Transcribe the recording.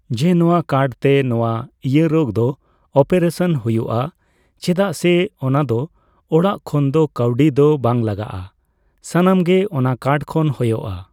ᱡᱮ ᱱᱚᱣᱟ ᱠᱟᱨᱰᱛᱮ ᱱᱚᱣᱟ ᱤᱭᱟᱹ ᱨᱳᱜᱽ ᱫᱚ ᱚᱯᱟᱨᱮᱥᱚᱱ ᱦᱳᱭᱳᱜᱼᱟ ᱪᱮᱫᱟᱜ ᱥᱮ ᱚᱱᱟ ᱫᱚ ᱚᱲᱟᱜ ᱠᱷᱚᱱ ᱫᱚ ᱠᱟᱣᱰᱤ ᱫᱚ ᱵᱟᱝ ᱞᱟᱜᱟᱜᱼᱟ ᱥᱟᱱᱟᱢ ᱜᱮ ᱚᱱᱟ ᱠᱟᱨᱰ ᱠᱷᱚᱱ ᱦᱳᱭᱳᱜᱼᱟ